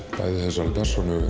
persónu